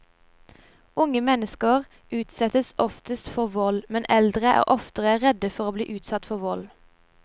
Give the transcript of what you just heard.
Unge mennesker utsettes oftest for vold, men eldre er oftere redde for å bli utsatt for vold.